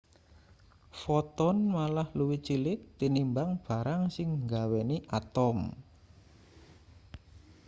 foton malah luwih cilik tinimbang barang sing nggaweni atom